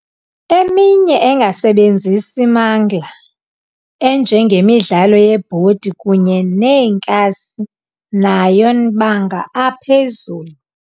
Eminye engasebenzisi mangla enjenge midlalo yebhodi kunye neenkasi nayo nbanga aphezulu.